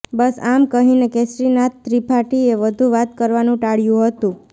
બસ આમ કહીને કેસરીનાથ ત્રિપાઠીએ વધુ વાત કરવાનું ટાળ્યું હતું